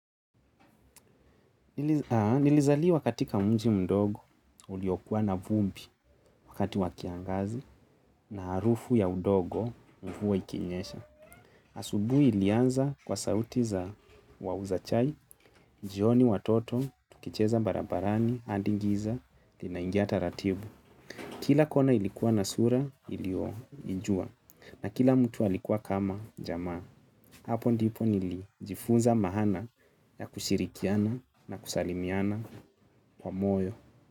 Nilizaliwa katika mji mdogo uliokuwa na vumbi wakati wa kiangazi na harufu ya udongo mvua ikinyesha. Asubuhi ilianza kwa sauti za wauza chai, jioni watoto tukicheza barabarani hadi giza linaingia taratibu. Kila kona ilikuwa na sura nilioijua na kila mtu alikuwa kama jamaa hapo ndipo nilijifunza maana ya kushirikiana na kusalimiana kwa moyo.